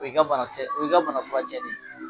O y'i ka bana kisɛ o y'i ka bana furacɛ de ye.